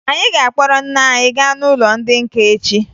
Anyị ga-akpọrọ nne anyị gaa n'ụlọ ndị nka echi